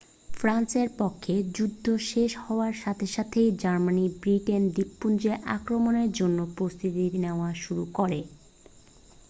ফ্রান্সের পক্ষে যুদ্ধ শেষ হওয়ার সাথে সাথেই জার্মানি ব্রিটেন দ্বীপপুঞ্জে আক্রমণের জন্য প্রস্তুতি নেওয়া শুরু করে